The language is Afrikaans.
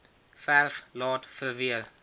verf laat verweer